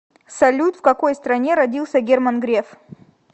салют в какой стране родился герман греф